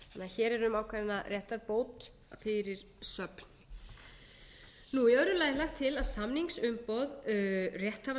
hér er því um ákveðna réttarbót fyrir söfn í öðru lagi er lagt til að samningsumboð